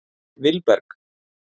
Vilberg